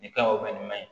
Nin ka ɲi nin ma ɲi